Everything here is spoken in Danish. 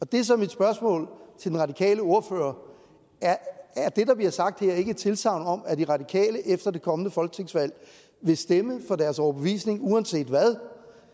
det er så mit spørgsmål til den radikale ordfører er det der bliver sagt her ikke et tilsagn om at de radikale efter et kommende folketingsvalg vil stemme efter deres overbevisning uanset hvad